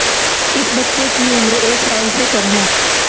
इस बच्चे की उम्र एक साल से कम है